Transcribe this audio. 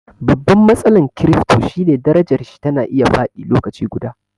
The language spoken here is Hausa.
Babban matsalan kirifto shine darajarshi tana iya faɗi lokaci guda